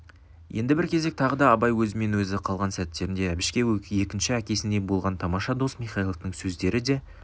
енді бір кезек тағы да абай өзімен-өзі қалған сәттерінде әбішке екінші әкесіндей болған тамаша дос михайловтың сөздері де